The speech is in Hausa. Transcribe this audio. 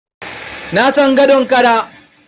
Na san gadon kara.